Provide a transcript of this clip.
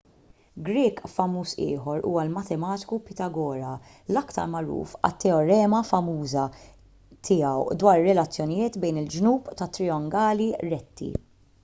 grieg famuż ieħor huwa l-matematiku pitagora l-aktar magħruf għat-teorema famuża tiegħu dwar ir-relazzjonijiet bejn il-ġnub ta' trijangoli retti